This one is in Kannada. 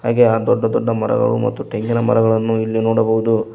ಹಾಗೆ ದೊಡ್ಡ ದೊಡ್ಡ ಮರಗಳು ಮತ್ತು ತೆಂಗಿನಮರಗಳನ್ನು ಇಲ್ಲಿ ನೋಡಬಹುದು.